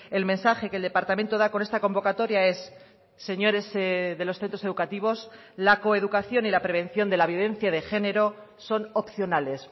el mensaje que el departamento da con esta convocatoria es señores de los centros educativos la coeducación y la prevención de la violencia de género son opcionales